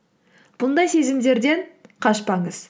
бұндай сезімдерден қашпаңыз